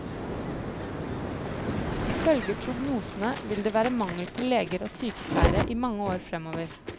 Ifølge prognosene vil det være mangel på leger og sykepleiere i mange år fremover.